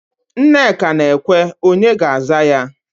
Nneka na-ekwe, onye ga-aza ya?